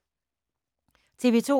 TV 2